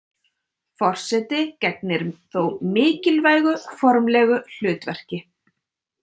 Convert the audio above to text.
Forseti gegnir þó mikilvægu formlegu hlutverki.